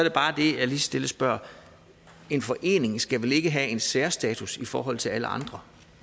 stille spørger en forening skal vel ikke have en særstatus i forhold til alle andre